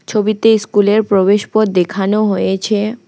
ছবিতে স্কুলের প্রবেশপথ দেখানো হয়েছে।